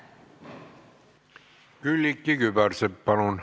Külliki Kübarsepp, palun!